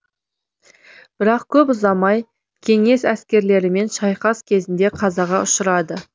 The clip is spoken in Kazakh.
бірақ көп ұзамай кеңес әскерлерімен шайқас кезінде қазаға ұшырады